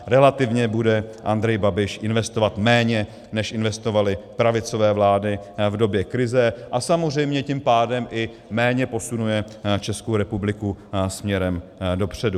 Relativně bude Andrej Babiš investovat méně, než investovaly pravicové vlády v době krize, a samozřejmě tím pádem i méně posunuje Českou republiku směrem dopředu.